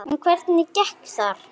En hvernig gekk þar?